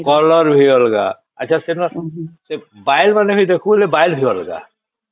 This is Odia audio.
କଲର ଭି ଅଲଗା ଆଛା ସେନା ସେ ବାୟୁ ମାନେ ଦେଖଉସେ ବାଇ ମାନେ ବି ଅଲଗା